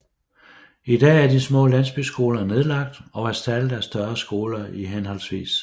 I dag er de små landsbyskoler nedlagt og erstattet af større skoler i hhv